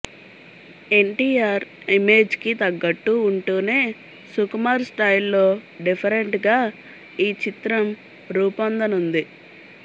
ఎన్టీఆర్ ఇమేజ్కి తగ్గట్టు వుంటూనే సుకుమార్ స్టైల్లో డిఫరెంట్గా ఈ చిత్రం రూపొందనుంది